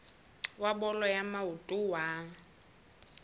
wa bolo ya maoto wa